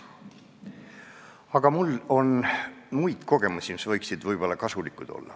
Aga mul on muid kogemusi, mis võiksid olla kasulikud.